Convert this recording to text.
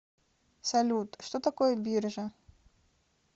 салют что такое биржа